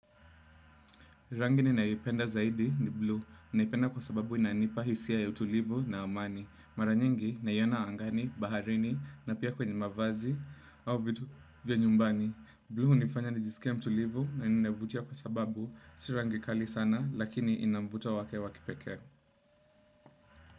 Rangi ninayo ipenda zaidi ni buluu naipenda kwa sababu inanipa hisia ya utulivu na amani. Mara nyingi naiona angani, baharini na pia kwenye mavazi au vitu vya nyumbani. Buluu hunifanya nijisikie mtulivu na inavutia kwa sababu si rangi kali sana lakini ina mvuto wake wa kipekee.